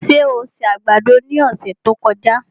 Ṣé o se àgbàdo ní ọ̀sẹ̀ tí ó kọjá?